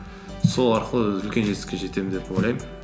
сол арқылы үлкен жетістікке жетемін деп ойлаймын